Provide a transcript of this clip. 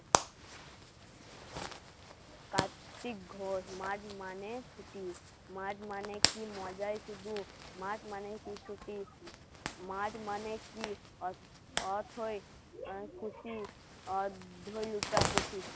কার্ত্তিক ঘোষ মাঘ মানে ছুটি মাঘ মানে কি মজাই শুধু মাঘ মানে লুটাপুটি